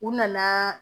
U nana